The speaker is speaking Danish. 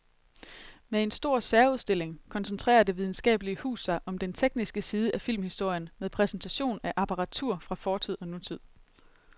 Med en stor særudstilling koncentrerer det videnskabelige hus sig om den tekniske side af filmhistorien med præsentation af apparatur fra fortid og nutid.